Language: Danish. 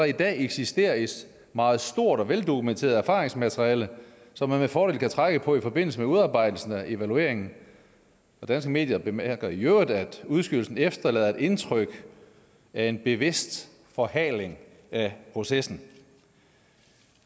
i dag eksisterer et meget stort og veldokumenteret erfaringsmateriale som man med fordel kan trække på i forbindelse med udarbejdelsen af evalueringen danske medier bemærker i øvrigt at udskydelsen efterlader et indtryk af en bevidst forhaling af processen